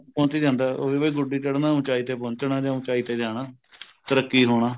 ਪਹੁੰਚੀ ਜਾਂਦਾ ਉਹੀ ਵੀ ਗੁੱਡੀ ਚੜਣਾ ਉੱਚਾਈ ਤੇ ਪਹੁੰਚਣਾ ਜਾਂ ਉੱਚਾਈ ਤੇ ਜਾਣਾ ਤਰੱਕੀ ਹੋਣਾ